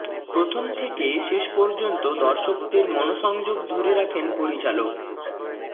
প্রথম থেকে শেষ পর্যন্ত দর্শকদের মনোসংযোগ ধরে রাখেন পরিচালক